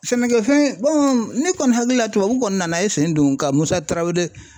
Sɛnɛkɛfɛn ne kɔni hakili la tubabuw kɔni nana i sen don ka Musa Tarawele